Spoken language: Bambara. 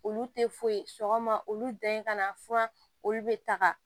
Olu tɛ foyi ye sɔgɔma olu da in ka na furan olu bɛ taga